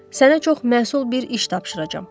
Sənə çox məsul bir iş tapşıracağam.